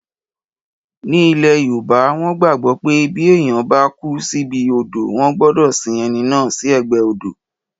Ní ilẹ̀ yoòbá, wọ́n gbàgbọ́ pé bí èèyàn bá kú síbi odò wọ́n gbọdọ̀ sin ẹni náà sí ẹ̀gbẹ́ odò